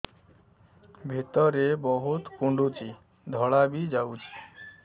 ଭିତରେ ବହୁତ କୁଣ୍ଡୁଚି ଧଳା ବି ଯାଉଛି